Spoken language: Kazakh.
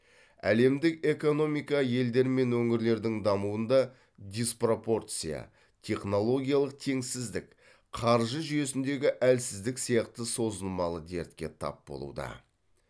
әлемдік экономика елдер мен өңірлердің дамуында диспропорция технологиялық теңсіздік қаржы жүйесіндегі әлсіздік сияқты созылмалы дертке тап болуда